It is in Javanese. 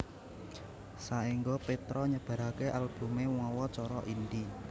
Saéngga Petra nyebaraké albumé mawa cara indie